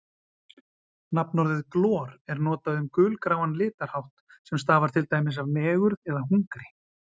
Nafnorðið glor er notað um gulgráan litarhátt sem stafar til dæmis af megurð eða hungri.